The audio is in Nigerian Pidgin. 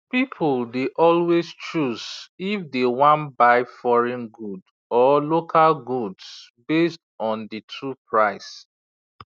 people dey always choose if dey wan buy foreign good or local goods based on the two price